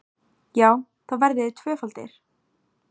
Já, þá verðið þið tvöfaldir!